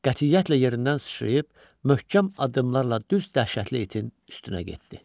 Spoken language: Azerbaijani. Qətiyyətlə yerindən sıçrayıb möhkəm addımlarla düz dəhşətli itin üstünə getdi.